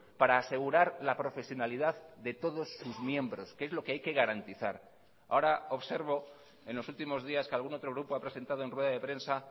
para asegurar la profesionalidad de todos sus miembros que es lo que hay que garantizar ahora observo en los últimos días que algún otro grupo ha presentado en rueda de prensa